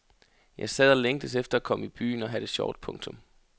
Jeg sad og længtes efter at komme i byen og have det sjovt. punktum